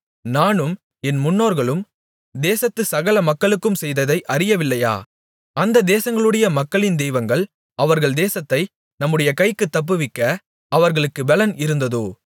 நானும் என் முன்னோர்களும் தேசத்து சகல மக்களுக்கும் செய்ததை அறியவில்லையா அந்த தேசங்களுடைய மக்களின் தெய்வங்கள் அவர்கள் தேசத்தை நம்முடைய கைக்குத் தப்புவிக்க அவர்களுக்குப் பெலன் இருந்ததோ